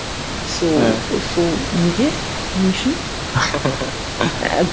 сол сол неге не үшін